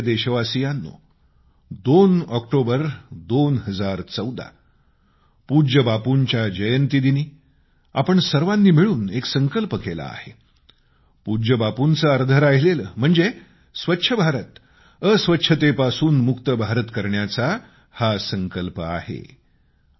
माझ्या प्रिय देशवासियांनो 2 ऑक्टोबर 2014 पूज्य बापूंच्या जयंती दिनी आपण सर्वांनी मिळून स्वच्छ भारत अस्वच्छतेपासून मुक्तभारत करण्याचा एक संकल्प केला आहे